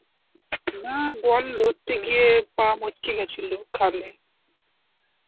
না বল ধরতে গিয়ে পা মচকে গেছিল খালে.